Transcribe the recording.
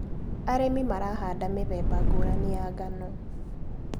Arĩmi marahanda mĩthemba ngũrani ya ngano.